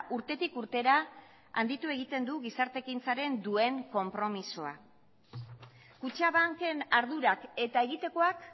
urtetik urtera handitu egiten du gizarte ekintzaren duen konpromisoa kutxabanken ardurak eta egitekoak